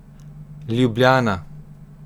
Ljubljana.